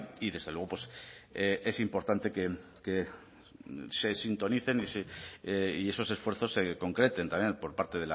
y desde luego es importante que se sintonicen y esos esfuerzos se concreten también por parte